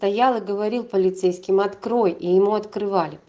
стоял и говорил полицейским открой и ему открывали